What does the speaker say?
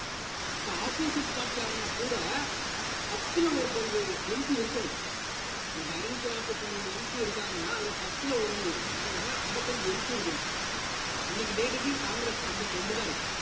அப்போ opposite party ஆவுன கூட பத்துல ஒரு பங்கு MP இருக்கணும் இன்னைக்கு ஐந்நூத்தி நாற்பத்தி மூணு MP இருக்காங்கன்னா அதுல பத்துல ஒண்ணு அப்படின்னு பார்த்தீங்கன்னா ஐம்பத்தஞ்சு MP இருக்கணும் இன்னைக்கு date க்கு காங்கிரஸ்க்கு ஐம்பத்தி இரண்டுதான் இருக்கு